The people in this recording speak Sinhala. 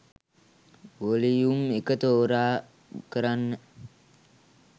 වොලියුම් එක තෝරා කරන්න.